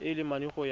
a le mane go ya